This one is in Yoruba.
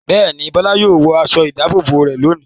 Bẹ́ẹ̀ ni, Bọ́lá yóò wọ aṣọ-ìdáàbòbò rẹ̀ lónìí.